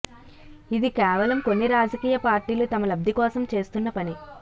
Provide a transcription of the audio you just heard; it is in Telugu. ఇది కేవలం కొన్ని రాజకీయ పార్టీలు తమ లబ్ది కోసం చేస్తున్న పని